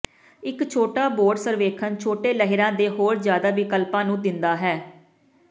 ਇੱਕ ਛੋਟਾ ਬੋਰਡ ਸਰਵੇਖਣ ਛੋਟੇ ਲਹਿਰਾਂ ਦੇ ਹੋਰ ਜਿਆਦਾ ਵਿਕਲਪਾਂ ਨੂੰ ਦਿੰਦਾ ਹੈ